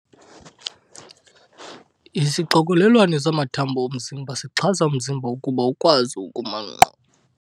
Isixokelelwano samathambo omzimba sixhasa umzimba ukuba ukwazi ukuma nkqo.